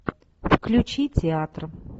включи театр